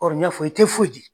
n y'a fɔ i tɛ foyi di.